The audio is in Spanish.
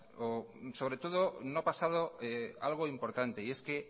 sobre todo no ha pasado algo importante y es que